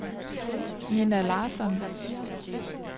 Ninna Larsson